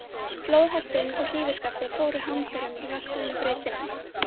Flóðhesturinn og hrífuskaftið fóru hamförum í vatnsrennibrautinni.